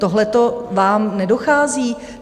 Tohleto vám nedochází?